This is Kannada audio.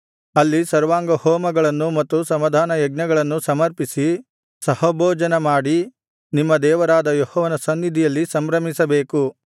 ಅಲ್ಲಿ ಸರ್ವಾಂಗಹೋಮಗಳನ್ನೂ ಮತ್ತು ಸಮಾಧಾನಯಜ್ಞಗಳನ್ನೂ ಸಮರ್ಪಿಸಿ ಸಹಭೋಜನಮಾಡಿ ನಿಮ್ಮ ದೇವರಾದ ಯೆಹೋವನ ಸನ್ನಿಧಿಯಲ್ಲಿ ಸಂಭ್ರಮಿಸಬೇಕು